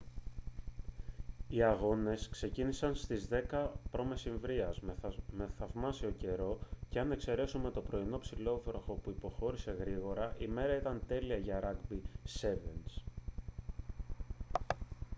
οι αγώνες ξεκίνησαν στις 10:00 π.μ. με θαυμάσιο καιρό και αν εξαιρέσουμε το πρωινό ψιλόβροχο που υποχώρησε γρήγορα η μέρα ήταν τέλεια για ράγκμπι σέβενς